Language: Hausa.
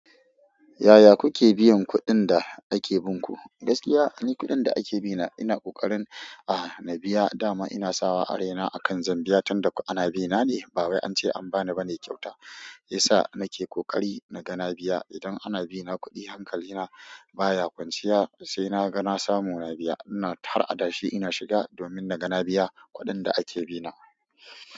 Yaya kuke biyan kuɗin da ake bin ku? Gaskiya duk ƙudin da ake bina ina ƙoƙarin aaa na biya da ma ina sawa araina akan zan biya, tunda ana bi na ne. Bawai an ce an bani bane kyauta, shi ya sa nake ƙoƙari na ga na biya. Idan ana bina kuɗi hankali na baya kwanciya sainaga nasamu na biya ina tara adashi ina shiga, domin na ga na biya kuɗin da ake bi na.